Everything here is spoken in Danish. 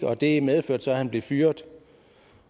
og det medførte så at han blev fyret